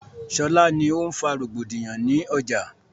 Ṣọlá ni o ń fa rògbòdìyàn ni ọjà